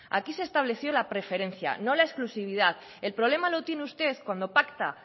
aquí se estableció la preferencia no la exclusividad el problema lo tiene usted cuando pacta